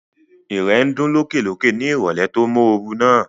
Ìrẹ̀ ń dún lókè lókè ní ìrọ̀lẹ́ tó móoru náà